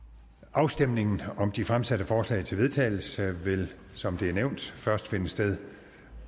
afstemning om de fremsatte forslag til vedtagelse vil som det er nævnt først finde sted